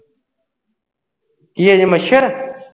ਕਿ ਅਜੇ ਮੱਛਰ?